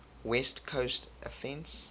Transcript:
west coast offense